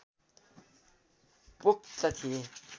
पोख्त थिए